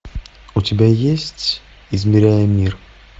у тебя есть измеряя мир